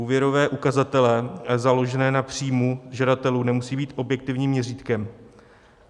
Úvěrové ukazatele založené na příjmu žadatelů nemusí být objektivním měřítkem.